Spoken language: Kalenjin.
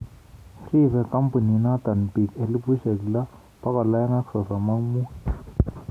Ribe kambiinoto biik 6235